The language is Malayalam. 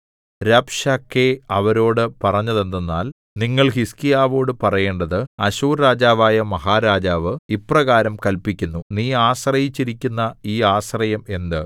രബ്ശാക്കേ അവരോട് പറഞ്ഞതെന്തെന്നാൽ നിങ്ങൾ ഹിസ്കീയാവോടു പറയേണ്ടത് അശ്ശൂർ രാജാവായ മഹാരാജാവ് ഇപ്രകാരം കല്പിക്കുന്നു നീ ആശ്രയിച്ചിരിക്കുന്ന ഈ ആശ്രയം എന്ത്